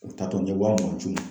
U taatɔ n ye waa mugan ci n ma